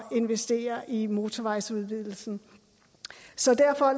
investere i motorvejsudvidelsen så derfor